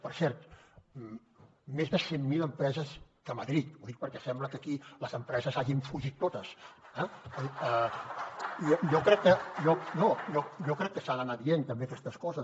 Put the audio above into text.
per cert més de cent mil empreses més que a madrid ho dic perquè sembla que aquí les empreses hagin fugit totes eh no jo crec que s’han d’anar dient també aquestes coses